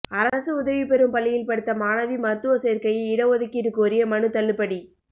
அரசு உதவி பெறும் பள்ளியில் படித்த மாணவி மருத்துவ சோ்க்கையில் இடஒதுக்கீடு கோரிய மனு தள்ளுபடி